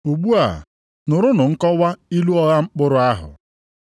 “Ugbu nụrụnụ nkọwa ilu ọgha mkpụrụ ahụ.